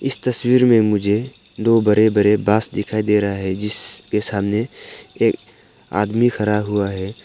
इस तस्वीर में मुझे दो बड़े बड़े बांस दिखाई दे रहा है जिसके सामने एक आदमी खड़ा हुआ है।